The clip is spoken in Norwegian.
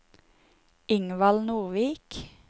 Ingvald Nordvik